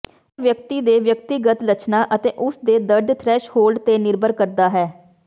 ਇਹ ਵਿਅਕਤੀ ਦੇ ਵਿਅਕਤੀਗਤ ਲੱਛਣਾਂ ਅਤੇ ਉਸ ਦੇ ਦਰਦ ਥ੍ਰੈਸ਼ਹੋਲਡ ਤੇ ਨਿਰਭਰ ਕਰਦਾ ਹੈ